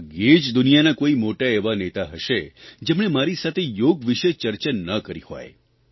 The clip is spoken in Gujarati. ભાગ્યે જ દુનિયાના કોઇ મોટા એવા નેતા હશે જેમણે મારી સાથે યોગ વિષે ચર્ચા ના કરી હોય